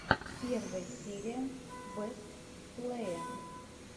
первая серия бэст плэе